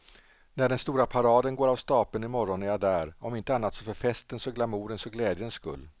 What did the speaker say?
När den stora paraden går av stapeln i morgon är jag där, om inte annat så för festens och glamourens och glädjens skull.